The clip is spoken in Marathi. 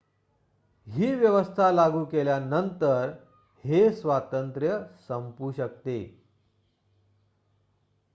ही व्यवस्था लागू केल्यानंतर हे स्वातंत्र्य संपू शकते